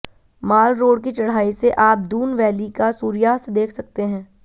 माल road की चढ़ाई से आप दून वैली का सूर्यास्त देख सकते है